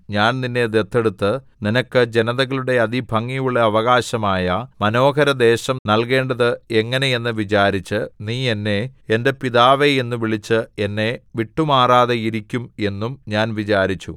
ഞാൻ നിന്നെ ദത്തെടുത്ത് നിനക്ക് ജനതകളുടെ അതിഭംഗിയുള്ള അവകാശമായ മനോഹരദേശം നല്കേണ്ടത് എങ്ങനെ എന്ന് വിചാരിച്ചു നീ എന്നെ എന്റെ പിതാവേ എന്നു വിളിച്ച് എന്നെ വിട്ടുമാറാതെയിരിക്കും എന്നും ഞാൻ വിചാരിച്ചു